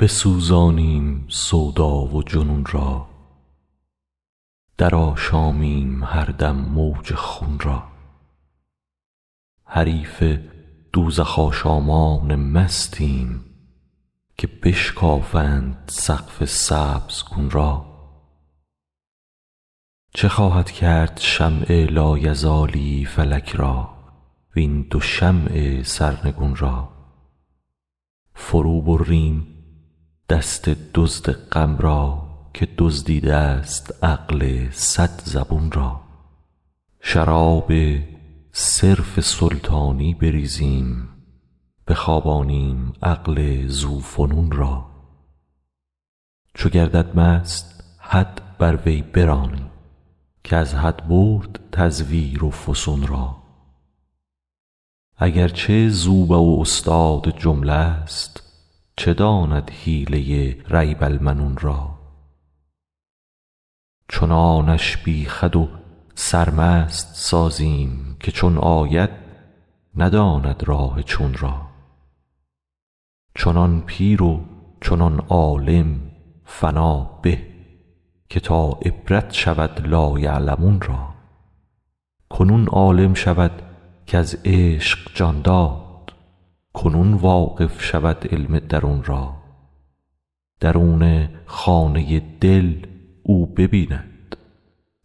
بسوزانیم سودا و جنون را درآشامیم هر دم موج خون را حریف دوزخ آشامان مستیم که بشکافند سقف سبزگون را چه خواهد کرد شمع لایزالی فلک را وین دو شمع سرنگون را فروبریم دست دزد غم را که دزدیده ست عقل صد زبون را شراب صرف سلطانی بریزیم بخوابانیم عقل ذوفنون را چو گردد مست حد بر وی برانیم که از حد برد تزویر و فسون را اگر چه زوبع و استاد جمله ست چه داند حیله ریب المنون را چنانش بی خود و سرمست سازیم که چون آید نداند راه چون را چنان پیر و چنان عالم فنا به که تا عبرت شود لایعلمون را کنون عالم شود کز عشق جان داد کنون واقف شود علم درون را درون خانه دل او ببیند